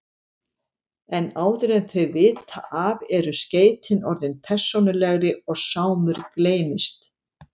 En áður en þau vita af eru skeytin orðin persónulegri og Sámur gleymist.